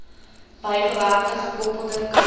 bygewerkte gekoppelde kalender